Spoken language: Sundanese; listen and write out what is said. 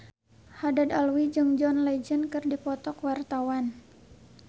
Haddad Alwi jeung John Legend keur dipoto ku wartawan